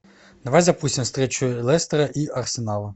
давай запустим встречу лестера и арсенала